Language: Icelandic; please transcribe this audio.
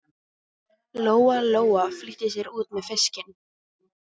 Lóa Lóa flýtti sér út með fiskinn.